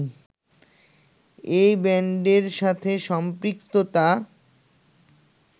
এই ব্যান্ডের সাথে সম্পৃক্ততা